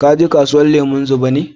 Ka je kasuwan lemun zuba ne?